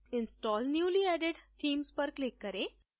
install newly added themes पर click करें